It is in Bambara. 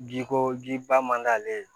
Bi ko ji ba man d'ale ye